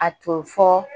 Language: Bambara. A to fɔ